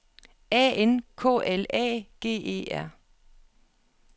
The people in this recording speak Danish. A N K L A G E R